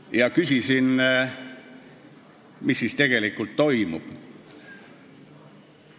– ja küsisin, mis siis tegelikult toimub.